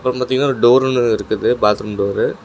இப்ப பாத்தீங்கன்னா ஒரு டோர் ஒன்னு இருக்குது பாத்ரூம் டோரு .